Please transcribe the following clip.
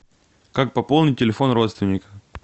как пополнить телефон родственника